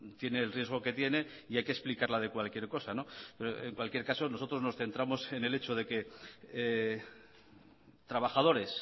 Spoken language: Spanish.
tiene el riesgo que tiene y hay que explicarla de cualquier cosa en cualquier caso nosotros nos centramos en el hecho de que trabajadores